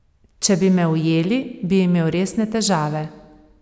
Če bi me ujeli, bi imel resne težave.